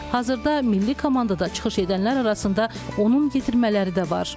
Hazırda milli komandada çıxış edənlər arasında onun yetirmələri də var.